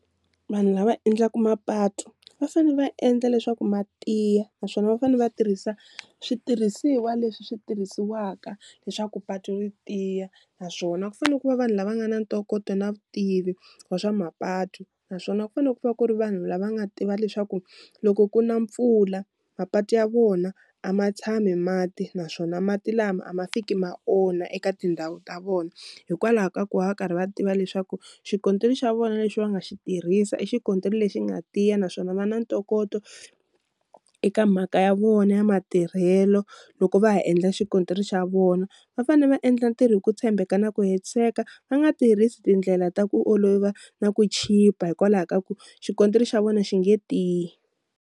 Vanhu lava endlaku mapatu va fanele va endla leswaku ma tiya naswona va fanele va tirhisa switirhisiwa leswi swi tirhisiwaka leswaku patu ri tiya naswona ku fanele ku va vanhu lava nga na ntokoto na vutivi wa swa mapatu, naswona ku fanele ku va ku ri vanhu lava nga tiva leswaku loko ku na mpfula mapatu ya vona a ma tshami mati naswona mati lama a ma fiki ma onha eka tindhawu ta vona, hikwalaho ka ku va va karhi va tiva leswaku xikontiri xa vona lexi va nga xi tirhisa i xikontiri lexi nga tiya naswona va na ntokoto eka mhaka ya vona ya matirhelo loko va ha endla xikontiri xa vona, va fane va endla ntirho hi ku tshembeka na ku hetiseka va nga tirhisi tindlela ta ku olova na ku chipa hikwalaho ka ku xikontiri xa vona xi nge tiyi.